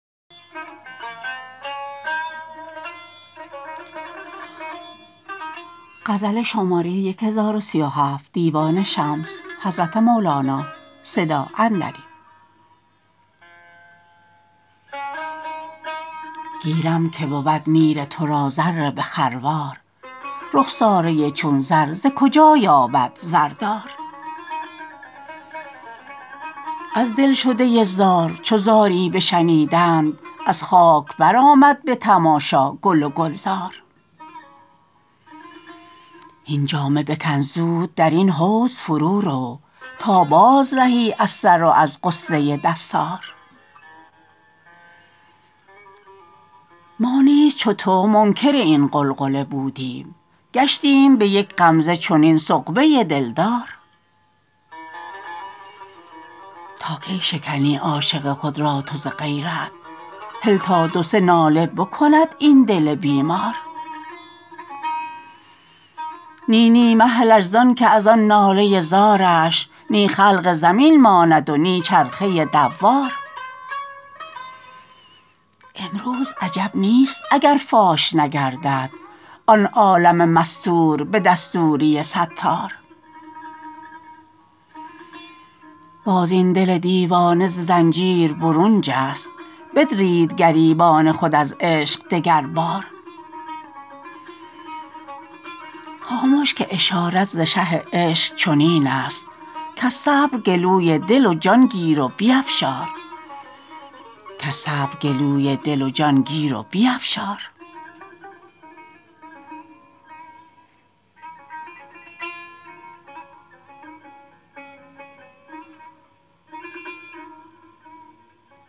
گیرم که بود میر تو را زر به خروار رخساره چون زر ز کجا یابد زردار از دلشده زار چو زاری بشنیدند از خاک برآمد به تماشا گل و گلزار هین جامه بکن زود در این حوض فرورو تا بازرهی از سر و از غصه دستار ما نیز چو تو منکر این غلغله بودیم گشتیم به یک غمزه چنین سغبه دلدار تا کی شکنی عاشق خود را تو ز غیرت هل تا دو سه ناله بکند این دل بیمار نی نی مهلش زانک از آن ناله زارش نی خلق زمین ماند و نی چرخه دوار امروز عجب نیست اگر فاش نگردد آن عالم مستور به دستوری ستار باز این دل دیوانه ز زنجیر برون جست بدرید گریبان خود از عشق دگربار خامش که اشارت ز شه عشق چنین است کز صبر گلوی دل و جان گیر و بیفشار